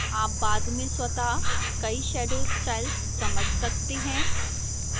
आप बाद में स्वतः कई shadow styles समझ सकते हैं